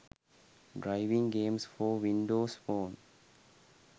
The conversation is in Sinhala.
driving games for windows phone